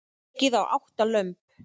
Ekið á átta lömb